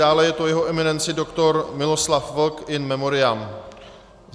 Dále je to jeho eminence doktor Miloslav Vlk in memoriam.